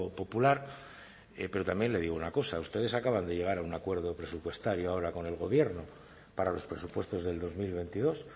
popular pero también le digo una cosa ustedes acaban de llegar a un acuerdo presupuestario ahora con el gobierno para los presupuestos del dos mil veintidós